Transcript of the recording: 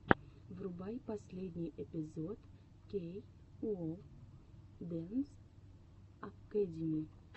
врубай последний эпизод кей оу дэнс акэдими